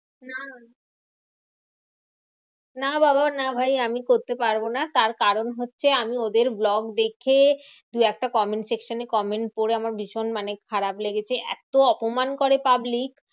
না না বাবা না ভাই আমি করতে পারবো না। তার কারণ হচ্ছে আমি ওদের vlog দেখে দু একটা comments section এ comment করে আমার ভীষণ মানে খারাপ লেগেছে। এত অপমান করে public.